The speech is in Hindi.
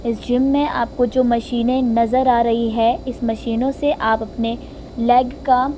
इस जिम में आपको जो मशीनें नजर आ रही है इस मशीनों से आप अपने लेग का--